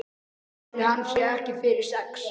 Ætli hann sé ekki fyrir sex?